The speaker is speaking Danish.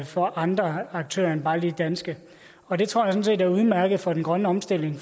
for andre aktører end bare lige danske og det tror jeg sådan set er udmærket for den grønne omstilling